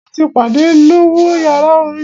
Mo ti padà lọ wo yàrá orin.